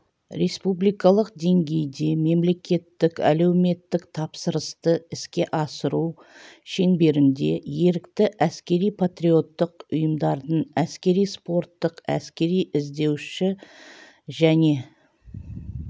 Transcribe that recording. республикалық деңгейде мемлекеттік әлеуметтік тапсырысты іске асыру шеңберінде ерікті әскери-патриоттық ұйымдардың әскери-спорттық әскери-іздеуші және